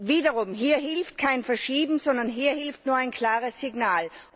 Wiederum hier hilft kein Verschieben, sondern hier hilft nur ein klares Signal.